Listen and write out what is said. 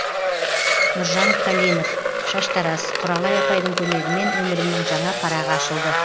шаштараз құралай апайдың көмегімен өмірімнің жаңа парағы ашылды